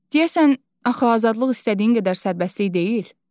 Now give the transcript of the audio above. Deyəsən, axı azadlıq istədiyin qədər sərbəstlik deyil?